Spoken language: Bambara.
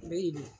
N bɛ yen